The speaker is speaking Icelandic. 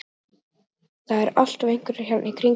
Það eru alltaf einhverjir hérna í kringum mig.